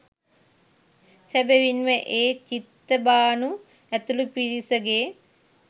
සැබවින්ම ඒ චිත්තභානු ඇතුළු පිරිසගේ